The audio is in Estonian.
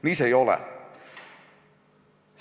Nii see ei ole!